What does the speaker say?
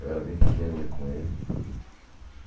Eu era bem pequeno e ia com ele.